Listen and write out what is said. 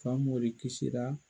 Famori kisira